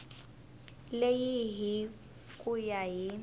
leyi hi ku ya hi